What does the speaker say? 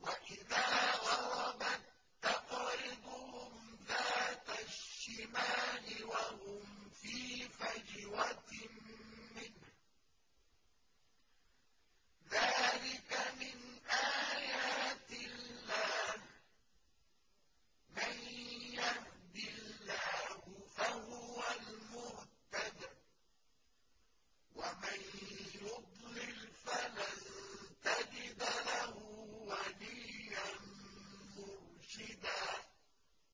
وَإِذَا غَرَبَت تَّقْرِضُهُمْ ذَاتَ الشِّمَالِ وَهُمْ فِي فَجْوَةٍ مِّنْهُ ۚ ذَٰلِكَ مِنْ آيَاتِ اللَّهِ ۗ مَن يَهْدِ اللَّهُ فَهُوَ الْمُهْتَدِ ۖ وَمَن يُضْلِلْ فَلَن تَجِدَ لَهُ وَلِيًّا مُّرْشِدًا